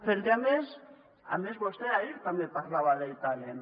perquè a més a més vostè ahir també parlava del talent